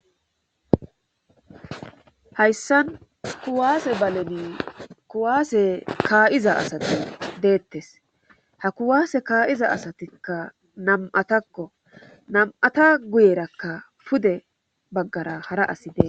Hayssan kuwaase baleni kuwaase kaa'iza asati deettees ha kuwaase kaa'iza asatikka nam'atakko nam'ata guyerakka pude baggara hara asi dees